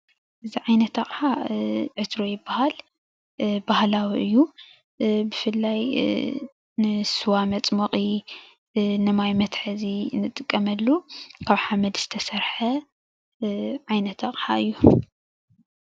እዚ ዓይነት ኣቕሓ ዕትሮ ይበሃል ። ባህላዊ እዩ። ብፍላይ ንስዋ መፅሞቒ፣ ንማይ መትሓዚ እንጥቀመሉ ካብ ሓመድ ዝተሰርሐ ዓይነት ኣቕሓ እዩ።